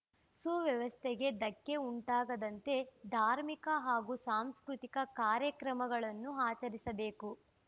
ಸುವ್ಯವಸ್ಥೆಗೆ ಧಕ್ಕೆ ಉಂಟಾಗದಂತೆ ಧಾರ್ಮಿಕ ಹಾಗೂ ಸಾಂಸ್ಕೃತಿಕ ಕಾರ್ಯಕ್ರಮಗಳನ್ನು ಆಚರಿಸಬೇಕು